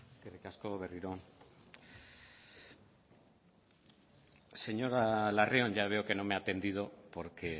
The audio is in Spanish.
eskerrik asko berriro señora larrion ya veo que no me ha atendido porque